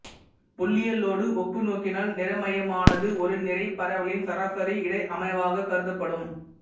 புள்ளியியலோடு ஒப்புநோக்கினால் நிறைமையமானது ஒரு நிறை பரவலின் சராசரி இட அமைவாகக் கருதப்படும்